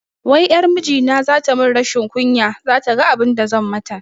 Wai ƴar mijina zata mun rashin kunya, zata ga abinda zan mata